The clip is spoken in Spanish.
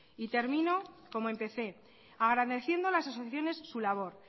y termino como empecé agradeciendo a las asociaciones su labor